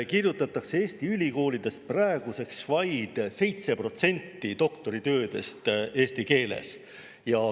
Eesti ülikoolides kirjutatakse praeguseks vaid 7% doktoritöödest eesti keeles.